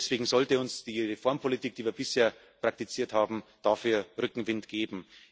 Deswegen sollte uns die Reformpolitik, die wir bisher praktiziert haben, dafür Rückenwind geben.